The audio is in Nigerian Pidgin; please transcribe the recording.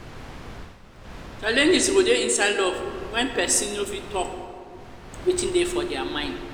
challenges go dey inside love when persin no fit talk talk wetin dey for their mind